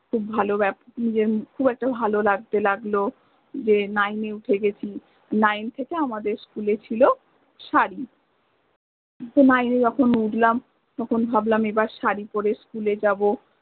খুব ভালো খুব একটা ভালো লাগতে লাগল যে nine এ উঠে গ্রেছি, nine থেকে আমাদের school এ ছিল সারি তো nine এ য্খন উঠলাম ভাবলাম এবার সারি পরে school এ যাব